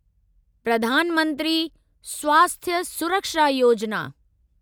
प्रधान मंत्री स्वास्थ्य सुरक्षा योजिना